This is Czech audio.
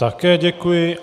Také děkuji.